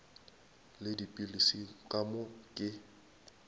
le dipilisi ka moo ke